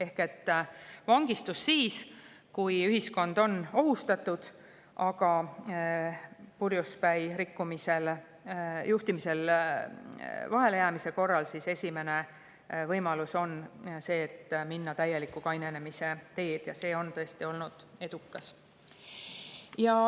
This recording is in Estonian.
Ehk vangistust siis, kui ühiskond on ohustatud, aga kui jäädakse esimest korda purjuspäi juhtimisega vahele, on võimalus minna täieliku kainenemise teed, ja see on tõesti olnud edukas.